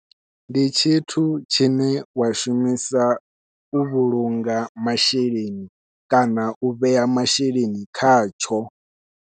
Ndi tshithu tshine wa shumisa u vhulunga masheleni kana u vhea masheleni khatsho.